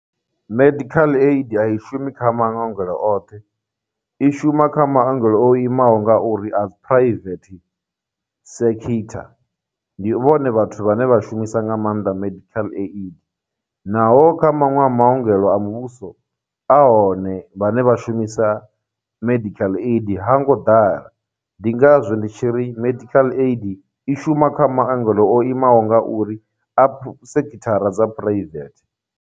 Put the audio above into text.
Medical Aid a i shumi kha maongelo oṱhe, i shuma kha maongelo o imaho nga uri a dzi private sekitha, ndi vhone vhathu vhane vha shumisa nga maanḓa medical aid naho kha maṅwe a maongelo a muvhuso a hone vhane vha shumisa medical aid ha ngo ḓala, ndi ngazwo ndi tshi ri medical aid i shuma kha maongelo o imaho nga uri a sekithara dza private.